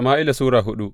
daya Sama’ila Sura hudu